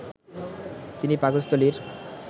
তিনি পাকস্থলীর